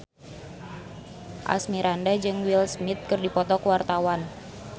Asmirandah jeung Will Smith keur dipoto ku wartawan